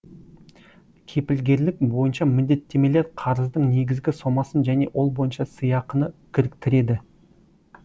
кепілгерлік бойынша міндеттемелер қарыздың негізгі сомасын және ол бойынша сыйақыны кіріктіреді